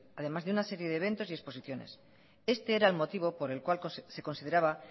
además de una serie de eventos y exposiciones este era el motivo por el cual se consideraba